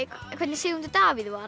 hvernig Sigmundur Davíð var